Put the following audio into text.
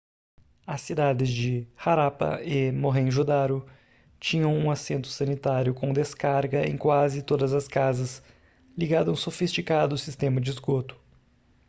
as cidades de harappa e mohenjo-daro tinham um assento sanitário com descarga em quase todas as casas ligado a um sofisticado sistema de esgoto